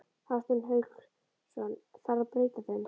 Hafsteinn Hauksson: Þarf að breyta þeim?